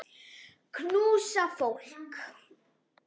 Knúsa fólk.